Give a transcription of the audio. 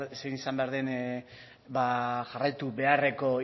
zein izan behar den jarraitu beharreko